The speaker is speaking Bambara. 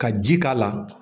Ka ji k'a la